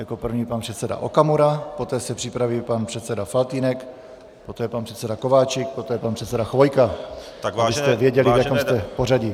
Jako první pan předseda Okamura, poté se připraví pan předseda Faltýnek, poté pan předseda Kováčik, poté pan předseda Chvojka, abyste věděli, v jakém jste pořadí.